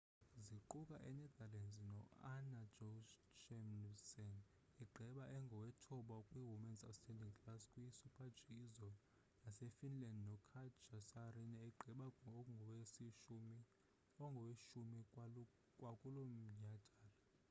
ziquka i-netherlands no-anna jochemsen egqiba engowethoba kwi-women's standing class kwi super-g izolo nase finland no katja saarinen egqiba engoweshumi kwakulomnyadala